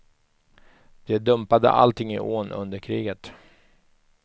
De dumpade allting i ån under kriget.